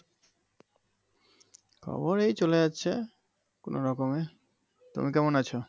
ওই চলে যাচ্ছে কোনো রকমে তুমি কেমন আছো